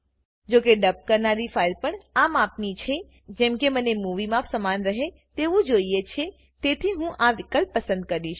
જોકે ડબ કરનારી ફાઈલ પણ આ માપની છે જેવી કે મને મુવી માપ સમાન રહે તેવું જોઈએ છે તેથી હું આ વિકલ્પ પસંદ કરીશ